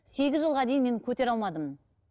сегіз жылға дейін мен көтере алмадым